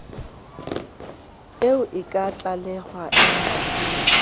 eo e ka tlalehwa embasing